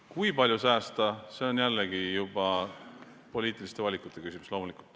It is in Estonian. Kui palju säästa, see on jällegi juba poliitiliste valikute küsimus, loomulikult.